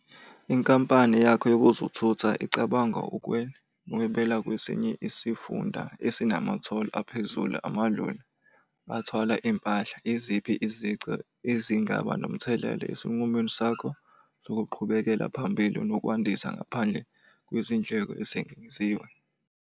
Inkampani yakho yokuzothutha icabanga ukuhwebela kwesinye isifunda esinama-toll aphezulu. Amaloli athwala iy'mpahla. Iziphi izici ezingaba nomthelela esinqumweni sakho sokuqhubekela phambili nokwandisa ngaphandle kwezindleko ezengeziwe?